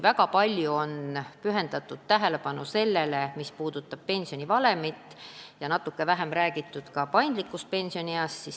Väga palju tähelepanu on pühendatud pensionivalemile, natuke vähem on räägitud paindlikust pensionieast.